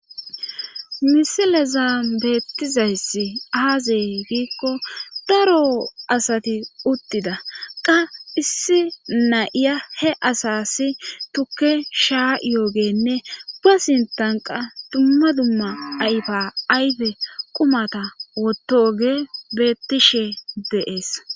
Misileza bettizayssi aazey giikko daro asati uttida qa issi nayiya he asasi tukke shaa yoogenne ga sintanqa dumma dumma ayfa ayfe qumata wotoge bettishe deees.